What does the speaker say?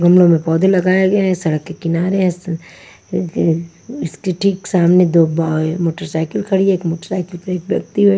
गमलों में पौधे लगाए गए हैं सड़क के किनारे इस के इसके ठीक सामने दो ब मोटरसाइकिल खड़ी है एक मोटरसाईकिल पे एक व्यक्ति बै--